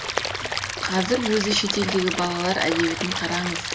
қазір өзі шетелдегі балалар әдебиетін қараңыз